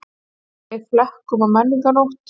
Kveikja í flekum á menningarnótt